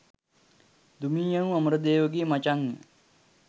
දුමී යනු අමරදේව ගේ මචං ය.